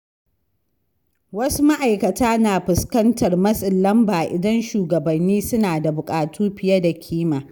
Wasu ma’aikata na fuskantar matsin lamba idan shugabanni suna da buƙatu fiye da kima.